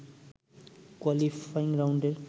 qualifying রাউন্ডের